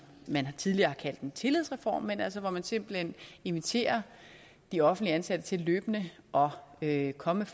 man tidligere har kaldt en tillidsreform altså hvor man simpelt hen inviterer de offentligt ansatte til løbende at komme